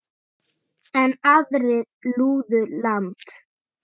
Enn aðrir flúðu land.